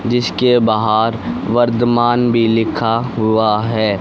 जिसके बाहर वर्दमान भी लिखा हुआ है।